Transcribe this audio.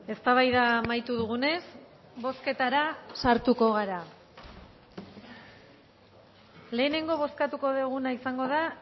eztabaida amaitu dugunez bozketara sartuko gara lehenengo bozkatuko duguna izango da